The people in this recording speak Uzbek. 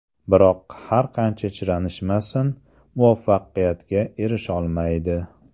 Biroq, har qancha chiranishmasin, muvaffaqiyatga erisholmaydi”.